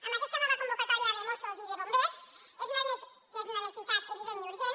amb aquesta nova convocatòria de mossos i de bombers que és una necessitat evident i urgent